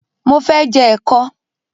Mo fẹ́ je ẹ̀kọ.